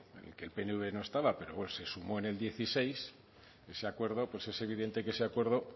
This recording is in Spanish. que el pnv no estaba pero se sumó en el dieciséis es evidente que ese acuerdo